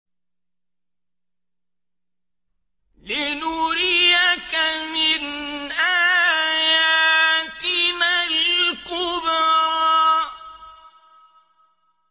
لِنُرِيَكَ مِنْ آيَاتِنَا الْكُبْرَى